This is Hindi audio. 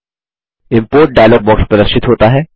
इम्पोर्ट डायलॉग बॉक्स प्रदर्शित होता है